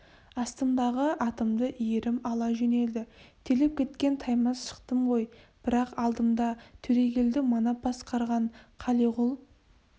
астымдағы атымды иірім ала жөнелді терлеп кеткен таймас шықтым ғой бірақ алдымда төрегелді манап басқарған қалиғұл